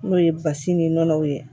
N'o ye basi ni nɔnɔw ye